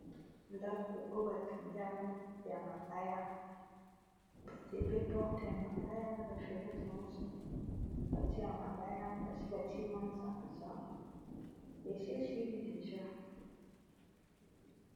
ndaku oyo batondiango ya mabaya batie pe porte ya mabaya na bafenetre nyonso atie ya mabaya basi batie masanza esi esili deja